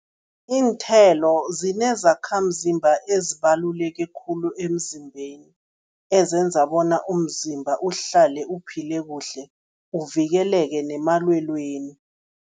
Iinthelo zinezakhamzimba ezibaluleke khulu emzimbeni, ezenza bona umzimba uhlale uphile kuhle, uvikeleke nemalwelweni.